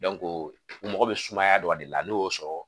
u mago bɛ sumaya dɔrɔn de la n'u y'o sɔrɔ